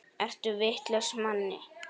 Ertu vitlaus Manni!